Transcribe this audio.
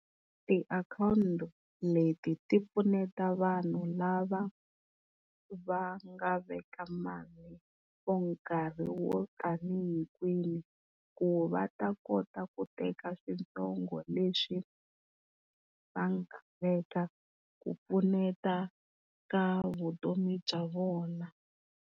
Tiakhawuti leti ti pfuneta vanhu lava va nga veka mali for nkarhi wo tani hikwihi, ku va ta kota ku teka switsongo leswi va nga veka ku pfuneta ka vutomi bya vona.